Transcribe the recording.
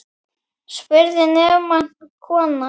spurði nefmælt kona.